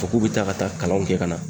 Fɔ k'u be taa ka taa kalanw kɛ ka na